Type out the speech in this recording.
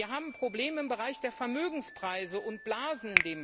Wir haben Probleme im Bereich der Vermögenspreise und blasen.